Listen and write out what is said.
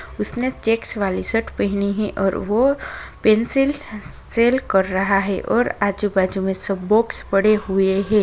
उसने चेक्स वाली शर्ट पेहनी है और वो पेंसिल सेल कर रहा है और आजू-बाजु में सब बॉक्स पड़े हुए हैं।